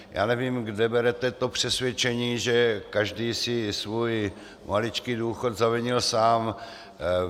Já nevím, kde berete to přesvědčení, že každý si svůj maličký důchod zavinil sám.